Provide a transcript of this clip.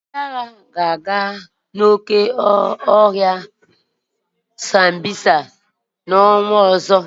Ndị agha ga-aga oke ọhịa Sambisa n'ọnwa ọzọ.